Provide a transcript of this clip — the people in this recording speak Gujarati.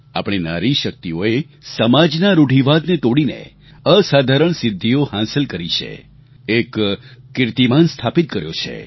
આપણી નારી શક્તિઓએ સમાજના રૂઢિવાદને તોડીને અસાધારણ સિદ્ધિઓ હાંસલ કરી છે એક કીર્તિમાન સ્થાપિત કર્યો છે